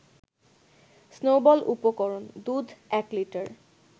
snowball উপরকরণ : দুধ ১লিটার